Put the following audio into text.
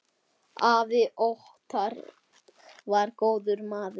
Afi Óttar var góður maður.